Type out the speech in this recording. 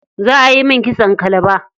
Za ayi min kitson kalaba.